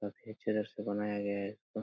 अक्खे चरस से बनाया गया है।